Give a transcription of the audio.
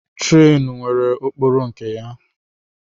Trenu nwere okporo nke ya.